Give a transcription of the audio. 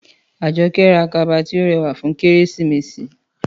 Àjọkẹ́ ra kaba tí ó rẹwà fún Kérésìmesì